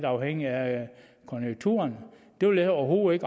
afhængigt af konjunkturerne det vil jeg overhovedet